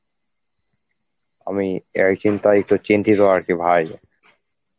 আমি এই চিন্তায় একটু চিন্তিত আর কি ভাই